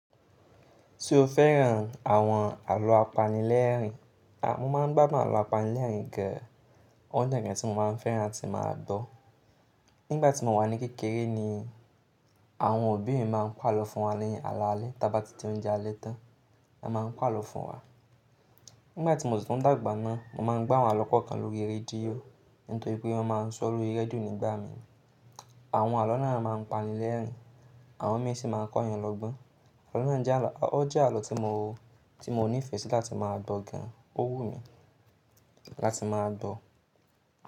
Se o fẹ́ran àwọn àlọ́ apanilẹ́rìn-ín, a mo máa ń gbábo àlọ́ apanilẹ́rìn-ín gan ọ̀un jẹ́ ǹkan tí mo máa ń fẹ́ran tí máa ń gbo. Nígbà tí mo wà ní kékeré ni àwọn òbí mi máa ń pàlọ́ fún wa ni alálẹ̀ t'aba ti je oúnjẹ alẹ́ tán, wọ́n máa ń pàlọ́ fún wa. Nígbà tí mo ṣitun ń dàgbà na, mo máa ń gbọ́ àwọn àlọ́ kọ̀ọ̀kan lórí rédíò nítorí pé wọ́n máa ń sọ̀ lórí rédíò nígbà mìí. Àwọn àlọ́ náà máa ń panilẹ́rìn-ín, àwọn mi si máa ń kọ́ yan lọ́gbọ́n. Àlọ́ náà jẹ́ àlọ́, ó jẹ́ àlọ́ tí mo, tí mo nífẹ̀ẹ́ sí láti máa gbọ̀ gan-an, ó wù mi láti máa gbọ̀.